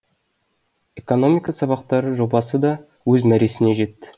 экономика сабақтары жобасы да өз мәресіне жетті